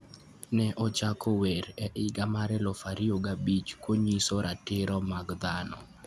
Ne ochako wer e higa mar 2005 konyiso ratiro mag dhano.